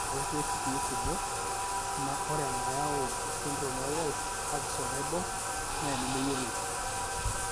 Ore toorkesii kumok, ore enayau esindirom eWolff Parkinson Naibor naa enemeyioloi.